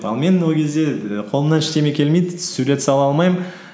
ал мен ол кезде і қолымнан ештеңе келмейді сурет сала алмаймын